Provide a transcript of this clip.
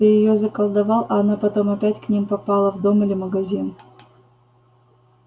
ты её заколдовал а она потом опять к ним попала в дом или магазин